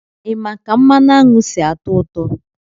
Ị ma ka mmanụ aṅụ si-atọ ụtọ?